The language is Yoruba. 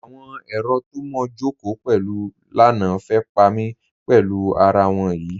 Awọn èrò tó mó jọ́kò pẹ̀lú lánà fẹ́ pa mí pẹ̀lú àrà wọn yí.